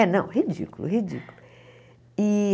É, não, ridículo, ridículo. E